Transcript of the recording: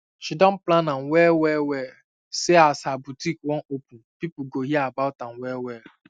she don plan am well well well say as her botik wan open pipo go hear about am well well